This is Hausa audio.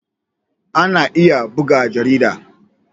Ana iya buga jarida.